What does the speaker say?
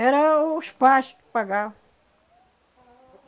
Era os pais que pagavam.